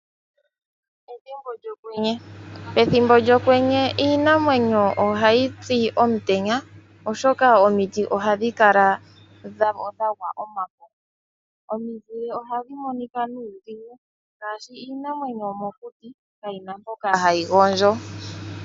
Ethimbo lyokwenye iinamwenyo ohayi pi omutenya oshoka omiti ohadhi kala dhagwa omafo. Omiti ohadhi monika nuudhigu iinamwenyo yomokuti kayi na mpoka hayi gondjo.